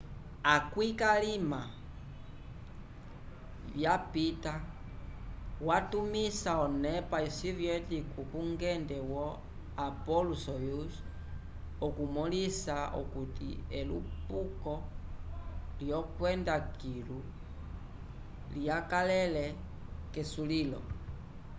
akwĩ k'alima vyapita watumisa onepa soviética kungende wo appolo-soyuz okumõlisa okuti elupuko lyokwenda kilu lyakalele k'esulil